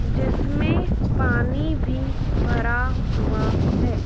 जिसमें पानी भी भरा हुआ है।